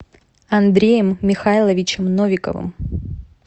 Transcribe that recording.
андреем михайловичем новиковым